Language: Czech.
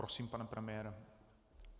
Prosím, pane premiére.